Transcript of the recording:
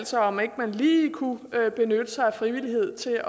sig om ikke man lige kunne benytte sig af frivillighed til